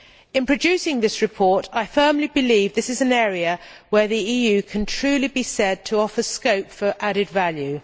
In producing this report I firmly believe this is an area where the EU can truly be said to offer scope for added value.